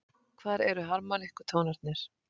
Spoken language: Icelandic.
Hvar eru harmónikkutónarnir?